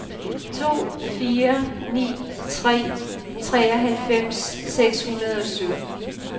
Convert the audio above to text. to fire ni tre treoghalvfems seks hundrede og sytten